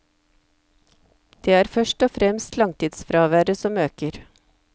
Det er først og fremst langtidsfraværet som øker.